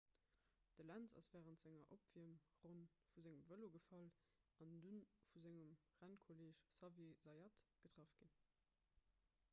de lenz ass wärend senger opwiermronn vu sengem vëlo gefall an du vu sengem rennkolleeg xavier zayat getraff ginn